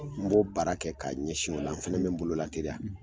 N b'o baara kɛ ka ɲɛsin ola n fana be n bolo la teliya